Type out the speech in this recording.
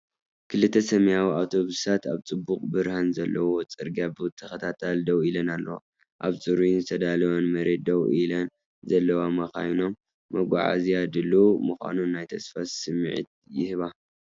ክልተ ሰማያዊ ኣውቶቡሳት ኣብ ጽቡቕ ብርሃን ዘለዎ ጽርግያ ብተኸታታሊ ደው ኢለን ኣለዋ። ኣብ ጽሩይን ዝተዳለወን መሬት ደው ኢለን ዘለዋ መካይኖም፡ መጓዓዝያ ድሉው ምዃኑ ናይ ተስፋ ስምዒት ይህባ።